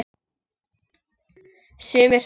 Sumir sögðu: